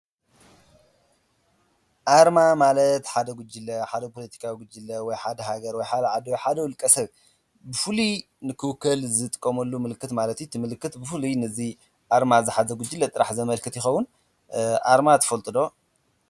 ኣርማ ማለት ሓደ ጉጅለ ሓደ ፖሎቲካዊ ጕጅለ ወይ ሓደ ሃገር ወይ ሓደ ዓዲ ሓደ ውልቀ ሰብ ብፍሉይ ንክውከል ዝጥቆመሉ ምልክት ማለት እዩ፡፡ እቲ ምልክት ብፍሉይ ነዙይ ኣርማ ዝሓዘ ጕጅለ ጥራሕ ዘመልክት ይኸዉን፡፡ ኣርማ ትፈልጡ ዶ?